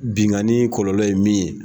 Bingani kɔlɔlɔ ye min ye.